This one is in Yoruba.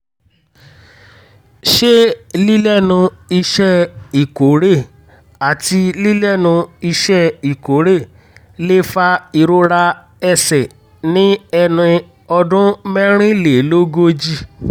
ṣé lílẹ́nu iṣẹ́ ìkórè àti lílẹ́nu iṣẹ́ ìkórè lè fa ìrora ẹsẹ̀ ní ẹni ọdún mẹ́rìnlélógójì?